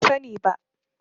Ban sani ba.